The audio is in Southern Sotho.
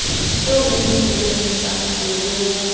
eo ho nkuweng sampole ho